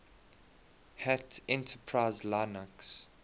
hat enterprise linux